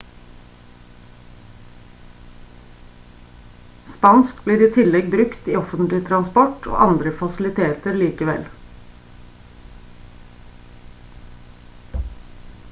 spansk blir i tillegg brukt i offentlig transport og andre fasiliteter likevel